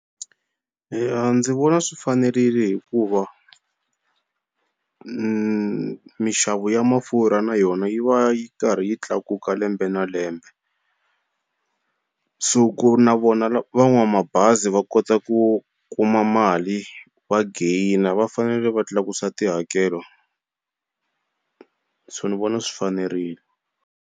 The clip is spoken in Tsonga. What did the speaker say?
Eya ndzi vona swi fanerile hikuva minxavo ya mafurha na yona yi va yi karhi yi tlakuka lembe na lembe so ku na vona va n'wa mabazi va kota ku kuma mali va gain-a va fanele va tlakusa tihakelo so ni vona swi fanerile.